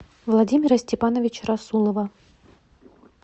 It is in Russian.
владимира степановича расулова